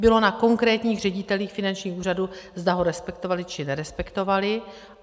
Bylo na konkrétních ředitelích finančních úřadů, zda ho respektovali, či nerespektovali.